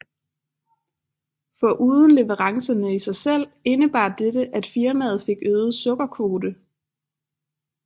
Foruden leverancerne i sig selv indebar dette at firmaet fik øget sukkerkvote